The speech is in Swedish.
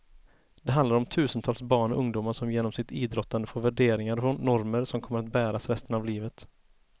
Det handlar om tusentals barn och ungdomar som genom sitt idrottande får värderingar och normer som kommer att bäras resten av livet.